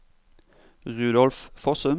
Rudolf Fossum